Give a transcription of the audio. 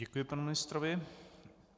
Děkuji panu ministrovi.